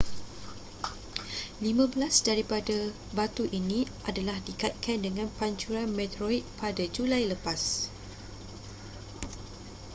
lima belas daripada batu ini adalah dikaitkan dengan pancuran meteorit pada julai lepas